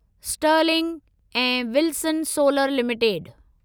Stirling ऐं Wilson solar limited